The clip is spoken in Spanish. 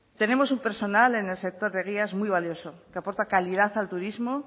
tenemos un personal en el sector de guías muy valioso que aporta calidad al turismo